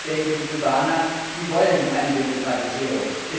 Ich denke, die Kubaner wollen eine Demokratisierung.